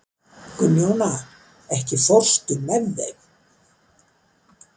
Gunnjóna, ekki fórstu með þeim?